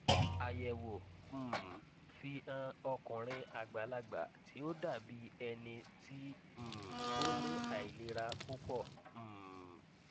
ayẹwo um fi hàn ọkunrin agbalagba ti o dabi ẹni ti um o ni ailera pupọ um